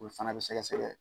O fana bɛ sɛgɛsɛgɛ